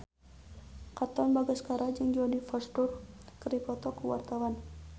Katon Bagaskara jeung Jodie Foster keur dipoto ku wartawan